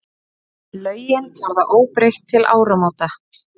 Lögin verða óbreytt til áramóta.